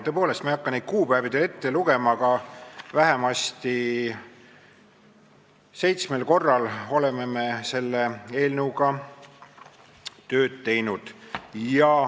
Tõepoolest, ma ei hakka neid kuupäevi teile ette lugema, aga vähemasti seitsmel korral oleme me selle eelnõuga tööd teinud.